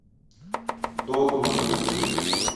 догма найти